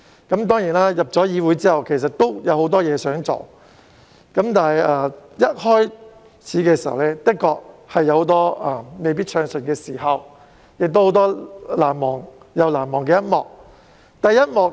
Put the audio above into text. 在加入議會後，我其實有很多事想做，但一開始時的確有很多不暢順的時間，亦有很多難忘的一幕。